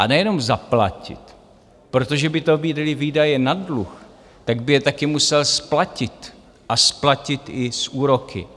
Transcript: A nejenom zaplatit, protože by to byly výdaje na dluh, tak by je také musel splatit, a splatit i s úroky.